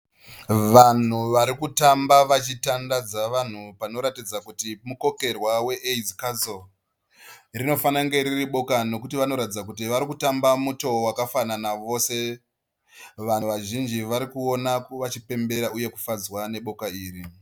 Vanhu vari kutamba vachitandadza vanhu panoratidza kuti mukokerwa we Aids Council. Rinofanira kunge riri boka nekuti vanoratidza kuti varikutamba mutoo wakafanana vose. Vanhu vazhinji varikuona vachipemberera uye kufadzwa neboka iri.